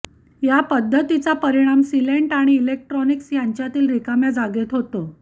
या पद्धतीचा परिणाम सीलेंट आणि इलेक्ट्रॉनिक्स यांच्यातील रिकाम्या जागेत होतो